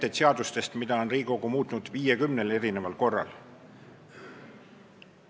On seadusi, mida on Riigikogu muutnud 50 korral.